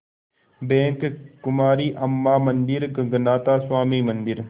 bank Kumari Amman मंदिर गगनाथा स्वामी मंदिर